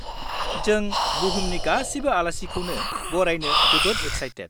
जों बुहुमनि गासिबो आलासिखौनो बरायनो जोबोद एक्साइटेद।